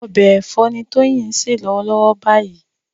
Ọbẹ̀ ẹ̀fọ́ ni Tóyìn ń se lọ́wọ́lọ́wọ́ báyìí